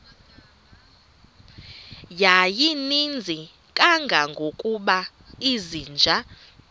yayininzi kangangokuba izinja